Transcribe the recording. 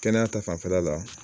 Kɛnɛya ta fanfɛla la